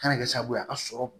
Kana kɛ sababu ye a ka sɔrɔ